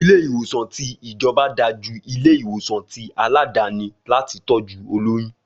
Ilé ìwòsàn ti ìjọba dà jú ilé ìwòsàn ti àládàni láti tọ́jú olóyún